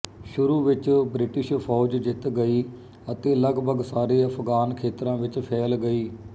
ਸ਼ੁਰੂ ਵਿੱਚ ਬਰੀਟਿਸ਼ ਫੌਜ ਜਿੱਤ ਗਈ ਅਤੇ ਲਗਭਗ ਸਾਰੇ ਅਫਗਾਨ ਖੇਤਰਾਂ ਵਿੱਚ ਫੈਲ ਗਈ